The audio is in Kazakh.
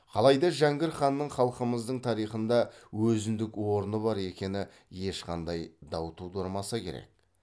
қалайда жәңгір ханның халқымыздың тарихында өзіндік орны бар екені ешқандай дау тудырмаса керек